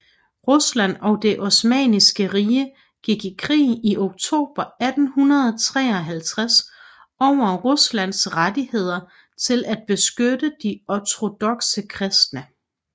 Rusland og det Osmanniske Rige gik i krig i oktober 1853 over Ruslands rettigheder til at beskytte de ortodokse kristne